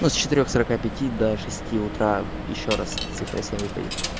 ну с четырёх сорока пяти до шести утра ещё раз цифра семь выпадет